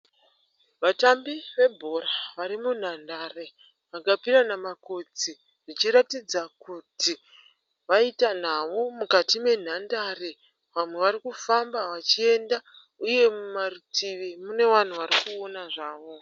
Vatambi vebhora vari munhandare vakapirana makotsi zvichiratidza kuti vaita nhau mukati menhandare. Vamwe vari kufamba vachienda uye mumarutivi mune vanhu varikuona zvavo.